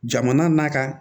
Jamana n'a ka